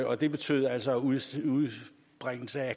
og det betød altså at udstøde